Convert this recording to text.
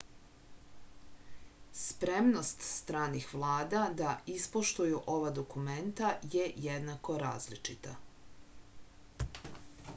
spremnost stranih vlada da ispoštuju ova dokumenta je jednako različita